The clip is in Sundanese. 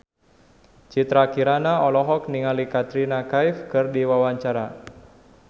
Citra Kirana olohok ningali Katrina Kaif keur diwawancara